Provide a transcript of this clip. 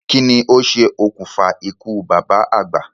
Kí ni o ṣe òkùnfà ikú bàbá àgbà?